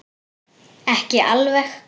Ekki alveg.